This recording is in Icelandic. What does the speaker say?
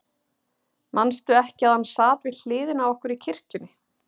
Manstu ekki að hann sat við hliðina á okkur í kirkjunni?